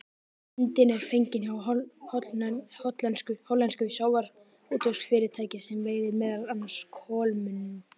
Myndin er fengin hjá hollensku sjávarútvegsfyrirtæki sem veiðir meðal annars kolmunna.